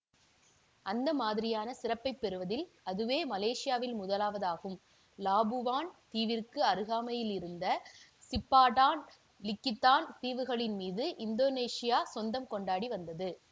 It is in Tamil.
அந்த மாதிரியான சிறப்பை பெறுவதில் அதுவே மலேசியாவில் முதலாவதாகும் லாபுவான் தீவிற்கு அருகாமையில் இருந்த சிப்பாடான் லிகித்தான் தீவுகளின் மீது இந்தோனேசியா சொந்தம் கொண்டாடி வந்தது